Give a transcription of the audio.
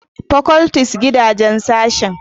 Faculties gidaje sashen